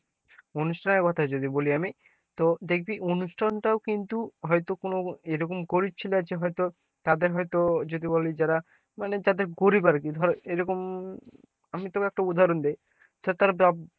অনুষ্ঠানের কোথায় যদি বলি আমি তো দেখবি অনুষ্ঠানটাও কিন্তু হয়তো কোন এরকম গরিব ছেলে আছে হয়তো তাদের হয়তো যদি বলি যারা মানে যাদের গরিব আরকি ধর এরকম আমি তোকে একটা উদাহরণ দি ,